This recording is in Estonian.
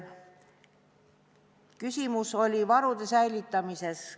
Küsimus oli varude säilitamise kohta.